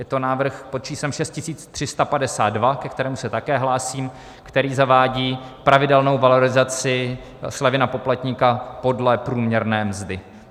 Je to návrh pod číslem 6352, ke kterému se také hlásím, který zavádí pravidelnou valorizaci slevy na poplatníka podle průměrné mzdy.